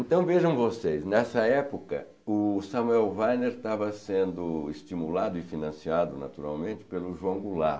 Então vejam vocês, nessa época o Samuel Weiner estava sendo estimulado e financiado naturalmente pelo João Goulart.